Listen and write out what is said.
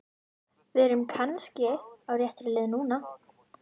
Við erum kannski á réttri leið núna!